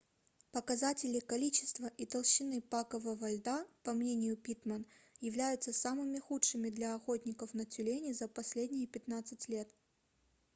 показатели количества и толщины пакового льда по мнению питтман являются самыми худшими для охотников на тюленей за последние 15 лет